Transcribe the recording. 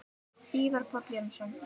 Ívar Páll Jónsson